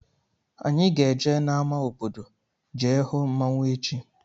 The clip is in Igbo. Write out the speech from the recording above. Anyị ga-eje n' ámá obodo jee hụ mmanwụ echi.